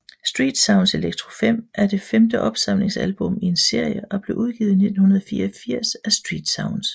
Street Sounds Electro 5 er det femte opsamlingsalbum i en serie og blev udgivet i 1984 af StreetSounds